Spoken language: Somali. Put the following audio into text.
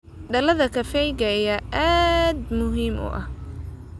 Dalagga kafeega ayaa aad muhiim u ah.